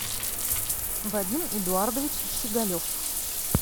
вадим эдуардович щеголев